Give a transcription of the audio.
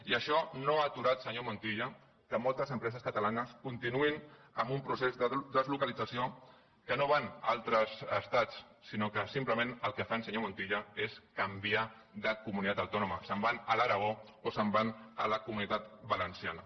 i això no ha aturat senyor montilla que moltes empreses catalanes continuïn amb un procés de deslocalització que no van a altres estats sinó que simplement el que fan senyor montilla és canviar de comunitat autònoma se’n van a l’aragó o se’n van a la comunitat valenciana